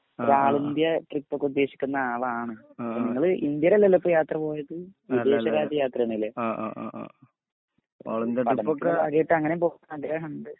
ഒരാളിന്ത്യ India ട്രിപ്പൊക്കെ ഉദ്ദേശിക്കുന്ന ആളാണ് ഇങ്ങള് ഇന്ത്യലല്ലല്ലോയിപ്പോയാത്രപോയത് വിദേശ രാജ്യ യാത്രനെല്ലേ അതിപ്പോ ഇക്കും അങ്ങനെപോകൻ ആഗ്രഹണ്ട്